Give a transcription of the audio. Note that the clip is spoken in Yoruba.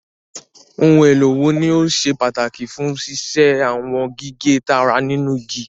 Ohun èlò wo ni ó ṣe pàtàkì fún ṣíṣe àwọn gígé tààrà nínú igi?